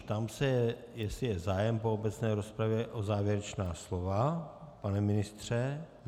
Ptám se, jestli je zájem po obecné rozpravě o závěrečná slova - pane ministře?